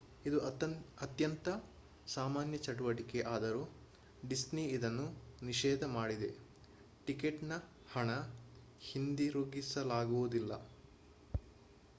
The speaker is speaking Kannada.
ಇದು ಅತ್ಯಂತ ಸಾಮಾನ್ಯ ಚಟುವಟಿಕೆ ಆದರೂ ಡಿಸ್ನಿ ಇದನ್ನು ನಿಷೇಧ ಮಾಡಿದೆ: ಟಿಕೆಟ್‌ನ ಹಣ ಹಿಂದಿರುಗಿಸಲಾಗುವುದಿಲ್ಲ